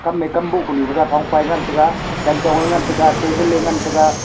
kame kam bohpanyu thega thongpa ye ngan tega chanchong nge ngan tega table ne ngan tega.